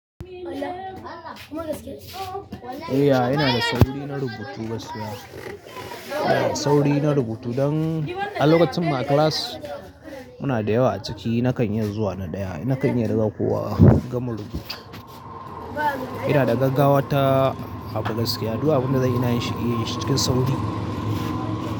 Eh, ya ina da sauri na rubutu gaskiya. Ina da sauri na rubutu dan a lokacin ma class muna da yawa a ciki na kan iya zuwa na ɗaya. Na kan iya riga kowa gama rubutu. Ina da gaggawa ta abu gaskiya. Du abunda zan yi ina yin shi ne cikin sauri.